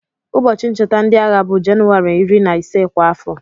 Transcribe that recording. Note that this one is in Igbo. Ụbọchị ncheta ndị agha bụ Jenụwarị iri na ise kwa afọ.